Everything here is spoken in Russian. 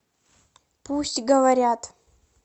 пусть говорят